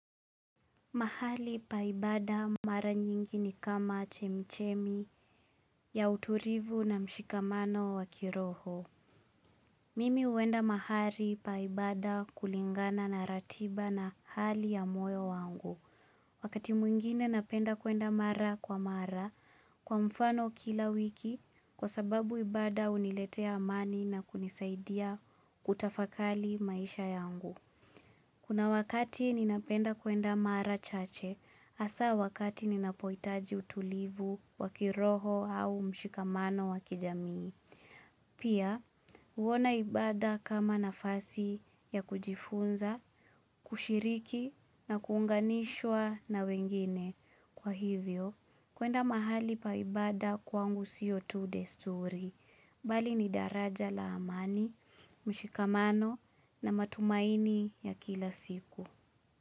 Mahali pa ibada mara nyingi ni kama chemichemi ya utulivu na mshikamano wa kiroho. Mimi huenda mahali pa ibada kulingana na ratiba na hali ya moyo wangu. Wakati mwingine napenda kwenda mara kwa mara kwa mfano kila wiki kwa sababu ibada huniletea amani na kunisaidia kutafakari maisha yangu. Kuna wakati ninapenda kwenda mara chache, hasa wakati ninapohitaji utulivu wa kiroho au mshikamano wa kijamii. Pia, huona ibada kama nafasi ya kujifunza, kushiriki na kuunganishwa na wengine. Kwa hivyo, kwenda mahali pa ibada kwangu sio tu desturi, bali ni daraja la amani, mshikamano na matumaini ya kila siku.